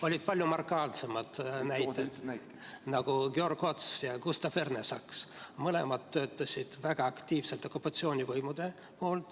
Oli palju markantsemaid näiteid, näiteks Georg Ots ja Gustav Ernesaks – mõlemad töötasid väga aktiivselt okupatsioonivõimude poolel.